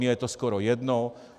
Mně je to skoro jedno.